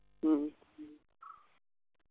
ഉം